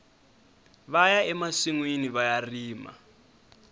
vaya emasinwini vaya rima